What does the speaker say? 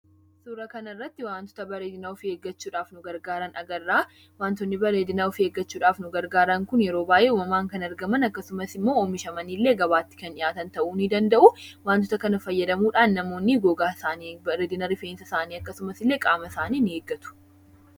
Suuraa kanarratti wantoota bareedina ofii eeggachuudhaaf nu gargaaran agarra. Wantoonni bareedina ofii eeggachuudhaaf nu gargaaran kun yeroo baay'ee uumamaan kan argaman akkasumas immoo oomishamanii illee gabaatti kan dhiyaatan ta'uu ni danda'u. Wantoota kana fayyadamuudhaan namoonni gogaa isaanii, bareedina rifeensa isaanii akkasumas illee qaama isaanii ni eeggatu.